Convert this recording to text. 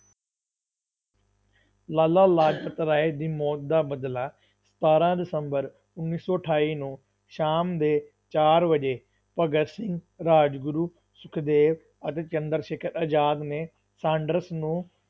ਲਾਲਾ ਲਾਜਪਤ ਰਾਏ ਦੀ ਮੌਤ ਦਾ ਬਦਲਾ ਸਤਾਰਾਂ ਦਸੰਬਰ ਉੱਨੀ ਸੌ ਅਠਾਈ ਨੂੰ ਸ਼ਾਮ ਦੇ ਚਾਰ ਵਜੇ ਭਗਤ ਸਿੰਘ, ਰਾਜਗੁਰੂ, ਸੁਖਦੇਵ ਅਤੇ ਚੰਦਰ ਸ਼ੇਖਰ ਆਜ਼ਾਦ ਨੇ ਸਾਂਡਰਸ ਨੂੰ